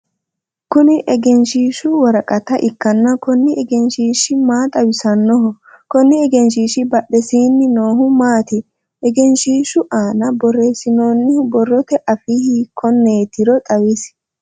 Kunni egenshiishu woraqata ikanna kunni egenshiishi maa xawissanoho? Konni egenshiishi badhesiinni noohu maati? Egeenshiishu aanna boreesinoonnihu borrote afii hiikoneetiro xawisi?